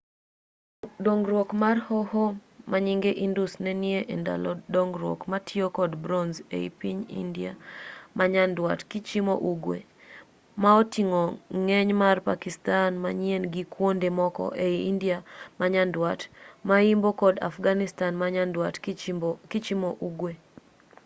dongruok mar hoho manyinge indus nenie endalo dongruok mitiyo kod bronze e i piny india manyandwat kichimo ugwe ma oting'o ng'eny mar pakistan manyien gi kuonde moko ei india manyandwat mayimbo kod afghanistan manyandwat kichimo ugwe